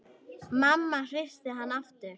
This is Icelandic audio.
Mamma hristi hann aftur.